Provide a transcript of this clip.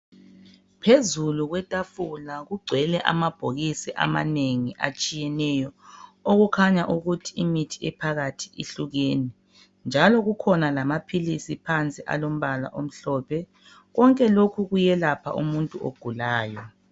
Phezulu kwetafula kugcwele amabhokisi amanengi atshiyeneyo okukhanya ukuthi imithi ephakathi ihlukene, njalo kukhona lamaphilisi phansi alombala omhlophe. Konke lokhu kuyelapha umuntu ogulayo.